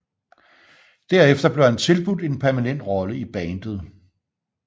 Derefter blev han tilbudt en permanent rolle i bandet